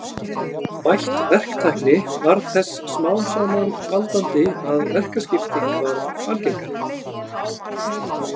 Bætt verktækni varð þess smám saman valdandi að verkaskipting varð algengari.